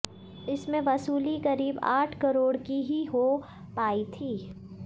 इसमें वसूली करीब आठ करोड़ की ही हो पायी थी